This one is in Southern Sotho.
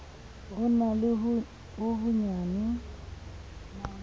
ho na le ho honyane